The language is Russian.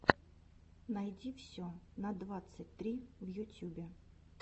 найди все на двадцать три в ютюбе